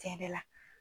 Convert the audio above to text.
Tiɲɛ yɛrɛ la